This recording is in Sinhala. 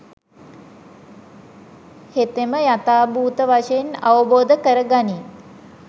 හෙතෙම යථාභූත වශයෙන් අවබෝධ කරගනියි